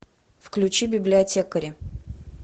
включи библиотекари